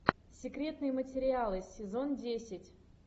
секретные материалы сезон десять